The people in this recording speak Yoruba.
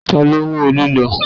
Ta ló mú òòlù lọ?